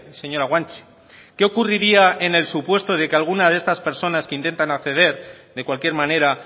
señora guanche qué ocurriría en el supuesto de que alguna de esas personas que intentan acceder de cualquier manera